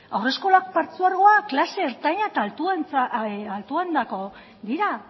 haurreskolak partzuergoak klase ertaina eta altuentzako dira